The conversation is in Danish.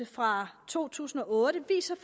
fra to tusind og otte viser